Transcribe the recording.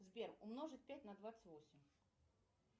сбер умножить пять на двадцать восемь